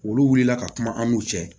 Olu wulila ka kuma an n'u cɛ